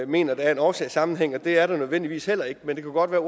mener at der er en årsagssammenhæng og det er der nødvendigvis men det kunne godt være